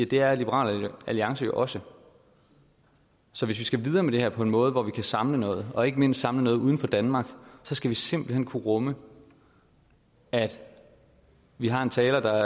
det er liberal alliance jo også så hvis vi skal videre med det her på en måde hvor vi kan samle noget og ikke mindst samle noget uden for danmark skal vi simpelt hen kunne rumme at vi har en taler der